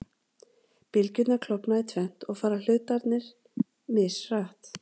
Bylgjurnar klofna í tvennt og fara hlutarnir mishratt.